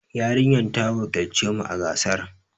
Yarinyar ta wakilci mu a gasar.